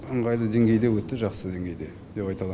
ыңғайлы деңгейде өтті жақсы деңгейде деп айта алам